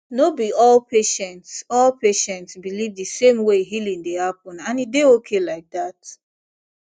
no be all patients all patients believe the same way healing dey happen and e dey okay like that